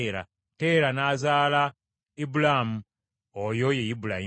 Teera n’azaala wa Ibulaamu, oyo ye Ibulayimu.